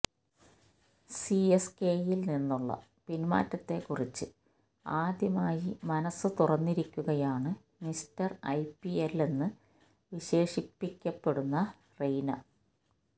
സിഎസ്കെയില് നിന്നുള്ള പിന്മാറ്റത്തെക്കുറിച്ച് ആദ്യമായി മനസ്സ് തുറന്നിരിക്കുകയാണ് മിസ്റ്റര് ഐപിഎല്ലെന്ന് വിശേഷിപ്പിക്കപ്പെടുന്ന റെയ്ന